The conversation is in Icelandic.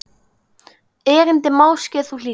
Erindi máske þú hlýtur.